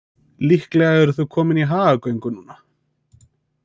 Líklega eru þau komin í hagagöngu núna.